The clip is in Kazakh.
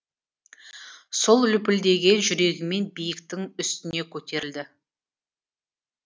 сол лүпілдеген жүрегімен биіктің үстіне көтерілді